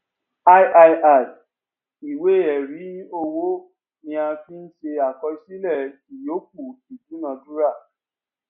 iii ìwé ẹrí owó ni a fí ń ṣe àkọsílẹ ìyọkù ìdúnadúrà